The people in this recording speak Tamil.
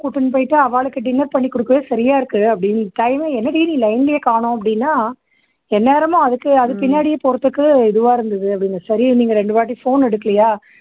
கூட்டிண்டு போயிட்டு ஆவாளுக்கு dinner பண்ணி குடுக்கவே சரியா இருக்கு அப்படீன்னு time மே, என்னடி நீ line லயே காணும் அப்படின்னா எந்நேரமும் அதுக்கு அது பின்னாடியே போறதுக்கு இதுவா இருந்துது அப்படீன்னு. சரி நீங்க ரெண்டு வாட்டி phone எடுக்கலயா